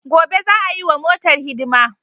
Gobe za'a yiwa motar hidima.